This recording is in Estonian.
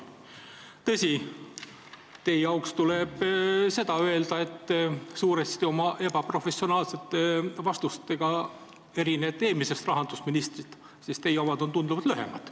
Samas, teie auks tuleb seda öelda, et oma suurel määral ebaprofessionaalsete vastustega te erinete eelmisest rahandusministrist ka selle poolest, et teie vastused on tunduvalt lühemad.